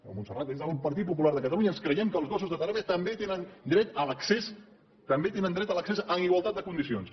des del partit popular de catalunya ens creiem que els gossos de teràpia també tenen dret a l’accés també tenen dret a l’accés amb igualtat de condicions